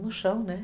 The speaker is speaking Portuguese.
no chão, né?